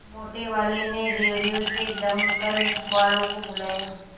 मोटेवाले ने रेडियो से दमकल वालों को बुलाया